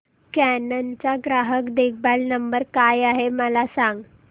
canon चा ग्राहक देखभाल नंबर काय आहे मला सांग